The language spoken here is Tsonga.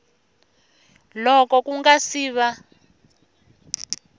loko ku nga si va